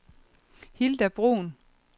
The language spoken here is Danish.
Hilda Bruhn